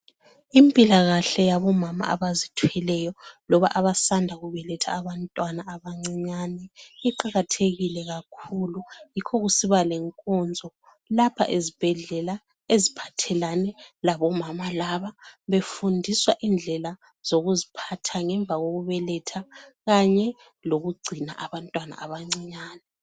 Impilakahle yabomama abazithweleyo loba abaqeda kubeletha abantwana abancinyane iqakathekile kakhulu yikho kusiba lenkonzo lapha ezibhedlela eziphathelane labo mama laba befundiswa indlela zokuziphatha ngemva kokubeletha kanye lokugcina abantwana abancinyane.